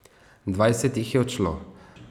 Dvajset jih je odšlo.